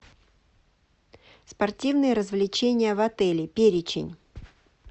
спортивные развлечения в отеле перечень